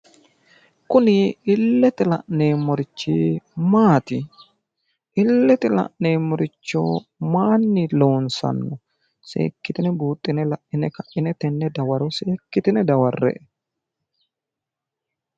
kuni illete la'neemmorichi maati? illete la'neemmorichi mayiinni loosamino? seekkitine lai'ne kai'ne seekkitine dawarre''e .